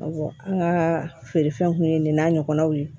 an ka feerefɛnw kun ye nin n'a ɲɔgɔnnaw ye